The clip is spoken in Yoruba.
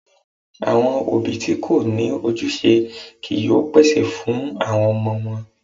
Àwọn òbí tí kò ní ojúṣe kìí yóò pèsè fún àwọn ọmọ wọn.